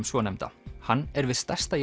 svonefnda hann er við stærsta